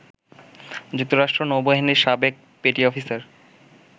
যুক্তরাষ্ট্র নৌবাহিনীর সাবেক পেটি অফিসার